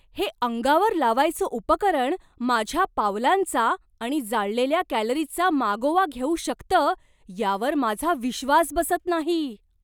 हे अंगावर लावायचं उपकरण माझ्या पावलांचा आणि जाळलेल्या कॅलरीजचा मागोवा घेऊ शकतं यावर माझा विश्वास बसत नाही.